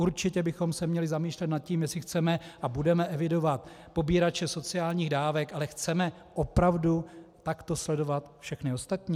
Určitě bychom se měli zamýšlet nad tím, zda chceme a budeme evidovat pobírače sociálních dávek, ale chceme opravdu takto sledovat všechny ostatní?